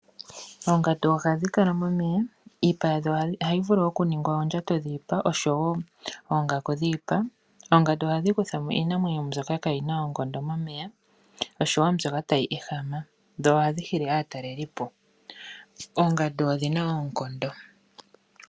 Oongandu ohadhi kala momeya. Iipa yadho ohayi vulu okuningwa oondjato dhiipa oshowo oongaku dhiipa. Oongandu ohadhi kutha mo iinamwenyo mbyoka ka yi na oonkondo momeya oshowo mbyoka tayi ehama dho ohadhi hili aatalelipo. Oongandu odhina oonkondo.